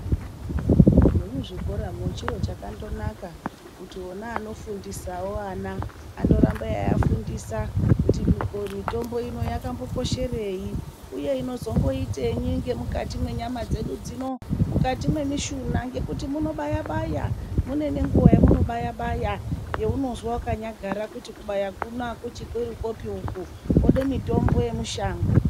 Nemuzvikoramwo chiro chakandonaka kuti vona vanofundisawo vana vandoramba veiafundisa kuti mitombo ino yakambokosherei, uye inozomboitenyi ngemukati mwenyama dzedu dzino, mukati mwemishuna ngekuti munobaya baya mune nenguwa yemunobaya baya yeunozwa wakanyagara kuti kubaya kuno akuchiri kwopi uku kwode mitombo yemushango.